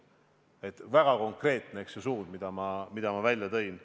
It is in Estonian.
See on väga konkreetne suund, mille ma välja tõin.